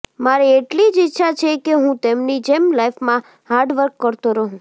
મારી એટલી જ ઈચ્છા છે કે હું તેમની જેમ લાઈફમાં હાર્ડ વર્ક કરતો રહું